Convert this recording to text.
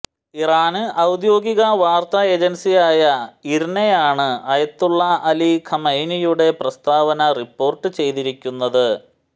ഇറാന് ഔദ്യോഗിക വാര്ത്താ ഏജന്സിയായ ഇര്നയാണ് ആയത്തുല്ല അലി ഖാംനഈയുടെ പ്രസ്താവന റിപ്പോര്ട്ട് ചെയ്തിരിക്കുന്നത്